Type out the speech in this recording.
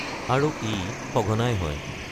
আৰু ই সঘনাই হয়।